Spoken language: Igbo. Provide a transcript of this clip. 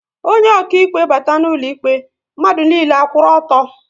Onye okaịkpe bata n'ụlọ ikpe, mmadụ niile a kwụrụ ọtọ